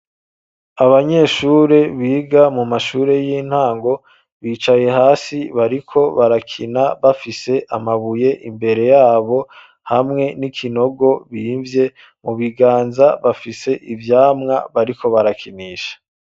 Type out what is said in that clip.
Abanyeshure biga mu mashure y'intango, bicaye hasi, bariko barakina, bafise amabuye imbere yabo, hamwe n'ikinogo bimvye; mu biganza bafise ivyamwa bariko barakinisha.